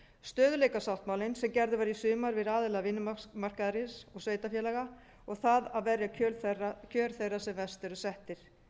stöðugleikasáttmálinn sem gerður var í sumar við aðila vinnumarkaðarins og sveitarfélaga og það að verja kjör þeirra sem verst eru settir